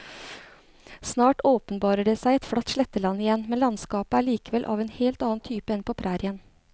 Snart åpenbarer det seg et flatt sletteland igjen, men landskapet er likevel av en helt annen type enn på prærien.